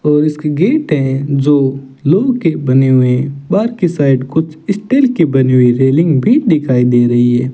और इसकी गेट है जो लोह के बने हुए बाकी साइड कुछ स्टील की बनी हुई रेलिंग भी दिखाई दे रही है।